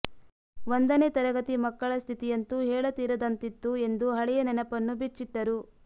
ಒಂದನೇ ತರಗತಿ ಮಕ್ಕಳ ಸ್ಥಿತಿಯಂತೂ ಹೇಳತೀರದಂತಿತ್ತು ಎಂದು ಹಳೆಯ ನೆನಪನ್ನು ಬಿಚ್ಚಿಟ್ಟರು